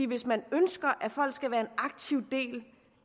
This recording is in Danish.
hvis man ønsker at folk skal være en aktiv del